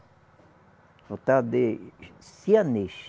O tal de sianês.